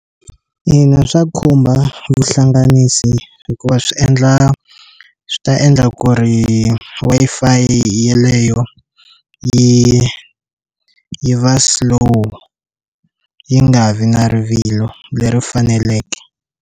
Ina, swa khumba vuhlanganisi hikuva swi endla swi ta endla ku ri Wi-Fi yeleyo yi yi va slow yi nga vi na rivilo leri faneleke.